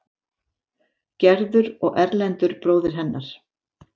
Gerður og Erlendur, bróðir hennar.